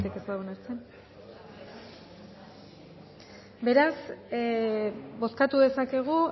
batek ez badu onartzen beraz bozkatu dezakegu